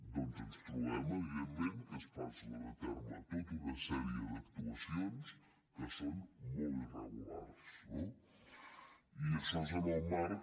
doncs ens trobem evidentment que es duen a terme tota una sèrie d’actuacions que són molt irregulars no i això és en el marc